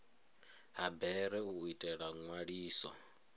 ha bere u itela nzwaliso